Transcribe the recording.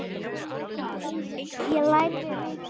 Ég lærði mikið.